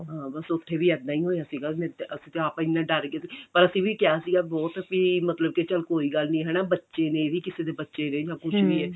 ਹਾਂ ਬੱਸ ਉੱਥੇ ਵੀ ਇੱਦਾਂ ਹੀ ਹੋਇਆ ਸੀਗਾ ਅਸੀਂ ਤਾਂ ਆਪ ਇੰਨੇ ਡਰ ਗਏ ਸੀ ਪਰ ਅਸੀਂ ਵੀ ਕਿਹਾ ਸੀਗਾ ਬਹੁਤ ਮਤਲਬ ਵੀ ਚੱਲ ਕੋਈ ਗੱਲ ਨਹੀਂ ਹਨਾ ਬੱਚੇ ਨੇ ਇਹ ਵੀ ਕਿਸੇ ਦੇ ਬੱਚੇ ਨੇ ਜਾ ਕੁੱਝ ਵੀ ਆ